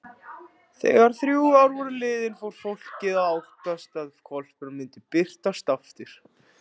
Þegar þrjú ár voru liðin fór fólkið að óttast að hvolpurinn myndi birtast aftur.